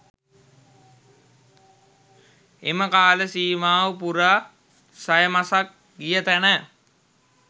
එම කාලසීමාව පුරා සය මසක් ගිය තැන